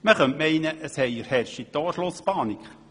Man könnte meinen, es herrsche Torschlusspanik.